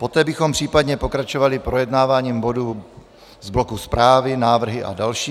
Poté bychom případně pokračovali projednáváním bodu z bloku zprávy, návrhy a další.